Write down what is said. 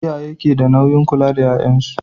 Iyaye keda nauyin kula da yayan su